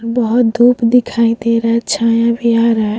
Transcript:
बहुत धुप दिखाई दे रहा है | छाया भी आ रहा है।